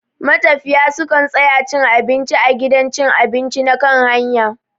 Matafiya su kan tsaya cin abinci a gidan cin abinci na kan hanya.